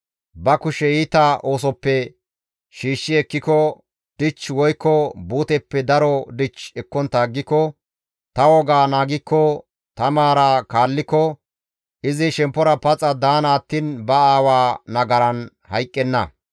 ba kushe iita oosoppe shiishshi ekkiko, dich woykko buuteppe daro dich ekkontta aggiko, ta wogaa naagikko, ta maaraa kaalliko, izi shemppora paxa daana attiin ba aawa nagaran hayqqenna.